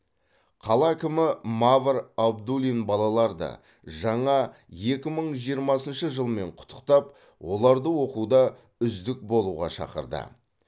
қала әкімі мавр абдуллин балаларды жаңа екі мың жиырмасыншы жылмен құттықтап оларды оқуда үздік болуға шақырды